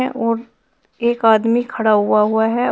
और एक आदमी खड़ा होआ हुआ है।